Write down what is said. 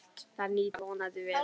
Það nýtist okkur vonandi vel.